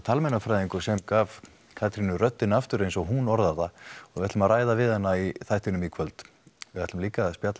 talmeinafræðingur sem gaf Katrínu röddina aftur eins og hún orðar það og við ætlum að ræða við hana í þættinum í kvöld við ætlum líka að spjalla